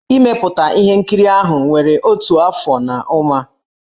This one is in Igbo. Ị mepụta ihe nkiri ahụ were otu afọ na ụma.